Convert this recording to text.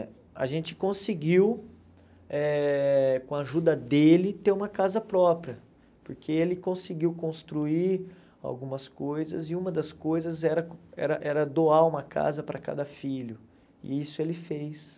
A gente conseguiu, eh com a ajuda dele, ter uma casa própria, porque ele conseguiu construir algumas coisas, e uma das coisas era era era doar uma casa para cada filho, e isso ele fez.